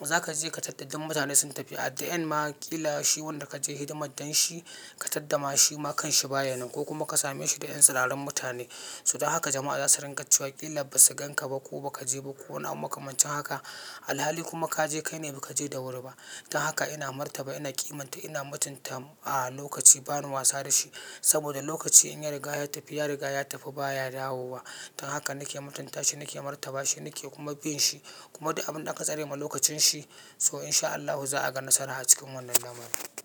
za ka je ka taddaɗɗan mutane sun tafi a dain ma ƙila shi wanda ka je hidimar don shi ka tadda ma shi ma kan shi baya nan ko kuma ka same shi da ƴan tsiraran mutane. So don haka jama'a za su ringa cewa ƙila ba su gan ka ba ko ba ka je ba ko wani abu makamancin haka. Alhali kuma ka je kai ne ba ka je da wuri ba. Don haka ina martaba ina ƙimanta ina mutunta a lokaci bani wasa da shi saboda lokaci in ya riga ya tafi ya riga ya tafi baya dawo wa. Don haka nake mutunta shi nake martaba shi nake kuma bin shi kuma duk abin da aka tsare ma lokacin shi so in sha Allahu za a ga nasara a cikin wannan lamari.